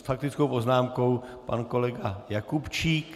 S faktickou poznámkou pan kolega Jakubčík.